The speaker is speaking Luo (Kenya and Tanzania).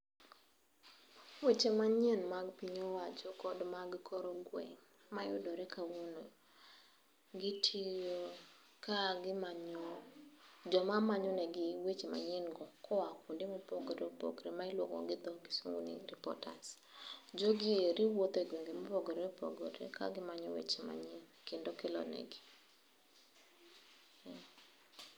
Weche manyien mag piny owacho kod mag kor gweng', mayudore kawuono gitiyo ka joma manyonegi weche manyien go kuonde mopogore opogore ma iluongo gi dho kisungu ni reporters. Jogi eri wuotho e gwenge mopogore opogore kagimanyo weche manyien, kendo kelonegi.